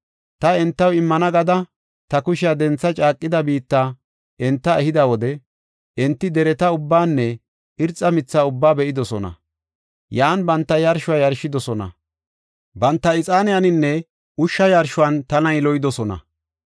Ta entaw immana gada ta kushiya dentha caaqida biitta enta ehida wode, enti dereta ubbanne irxa mitha ubba be7idosona. Yan banta yarshuwa yarshidosona. Banta, ixaaniyaninne ushsha yarshuwan tana yiloyidosona.